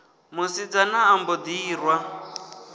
musidzana a mbo ḓi irwa